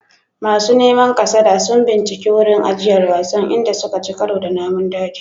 Masu neman kasada sun binciki wurin ajiyar wasan, inda suka ci karo da namun daji.